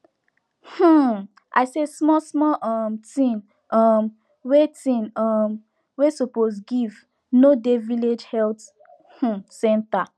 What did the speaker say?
um i say small small um thing um wey thing um wey suppose give no dey village health um center